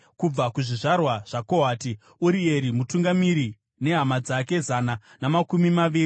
kubva kuzvizvarwa zvaKohati, Urieri mutungamiri nehama dzake zana namakumi maviri;